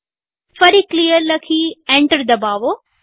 ફરી ક્લિયર લખી એન્ટર દબાવો